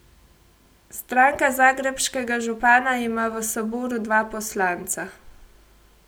Stranka zagrebškega župana ima v saboru dva poslanca.